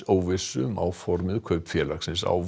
óvissu um áformuð kaup félagsins á